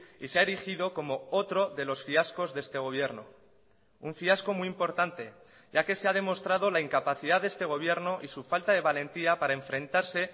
y se ha erigido como otro de los fiascos de este gobierno un fiasco muy importante ya que se ha demostrado la incapacidad de este gobierno y su falta de valentía para enfrentarse